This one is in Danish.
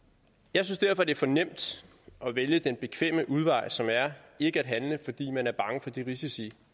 jeg synes derfor det er for nemt at vælge den bekvemme udvej som er ikke at handle fordi man er bange for de risici